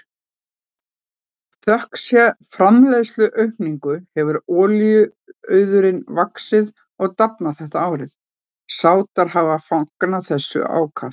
Þökk sé framleiðsluaukningu hefur olíuauðurinn vaxið og dafnað þetta árið og Sádar hafa fagnað þessu ákaft.